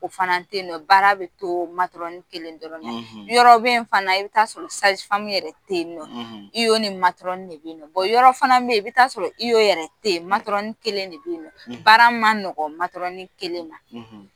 O fana te yen nɔ baara be to kelen dɔrɔn, yɔrɔ be yen nɔ fana i bi t'a sɔrɔ yɛrɛ te yen nɔ. I O ni de be yen nɔ. yɔrɔ fana be yen i bi t'a sɔrɔ I O yɛrɛ te yen . kelen de be yen nɔ , baara ma nɔgɔ kelen ma